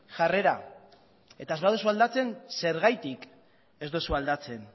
jarrera eta ez badozue aldatzen zergatik ez dozue aldatzen